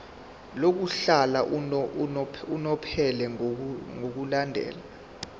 lokuhlala unomphela ngokulandela